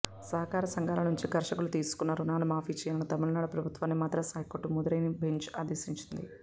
సహకార సంఘాల నుంచి కర్షకులు తీసుకున్న రుణాలు మాఫీ చేయాలని తమిళనాడు ప్రభుత్వాన్ని మద్రాస్ హైకోర్టు మధురై బెంచ్ ఆదేశించింది